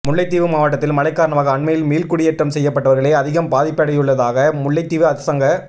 முல்லைத்தீவு மாவட்டத்தில் மழைக் காரணமாக அண்மையில் மீள்குடியேற்றம் செய்யப்பட்டவர்களே அதிகம் பாதிப்படைந்துள்ளதாக முல்லைத்தீவு அரசாங்க